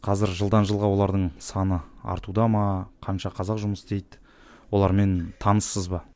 қазір жылдан жылға олардың саны артуда ма қанша қазақ жұмыс істейді олармен таныссыз ба